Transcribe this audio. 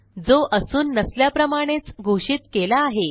जो असून नसल्याप्रमाणेच घोषित केला आहे